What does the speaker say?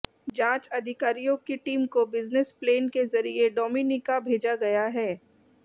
जांच अधिकारियों की टीम को बिजनेस प्लेन के जरिए डोमिनिका भेजा गया है